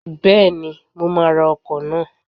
Bẹ́ẹ̀ni, mo máa ra ọkọ̀ náà.